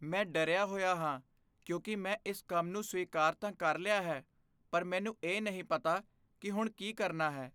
ਮੈਂ ਡਰਿਆ ਹੋਇਆ ਹਾਂ ਕਿਉਂਕਿ ਮੈਂ ਇਸ ਕੰਮ ਨੂੰ ਸਵੀਕਾਰ ਤਾਂ ਕਰ ਲਿਆ ਹੈ ਪਰ ਮੈਨੂੰ ਇਹ ਨਹੀਂ ਪਤਾ ਕਿ ਹੁਣ ਕੀ ਕਰਨਾ ਹੈ।